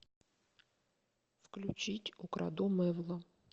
включить украду мэвла